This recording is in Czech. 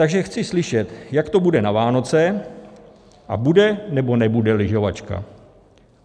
Takže chci slyšet, jak to bude na Vánoce, a bude, nebo nebude lyžovačka?